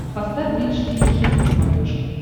поставь бридж тиви хитс на смотрешке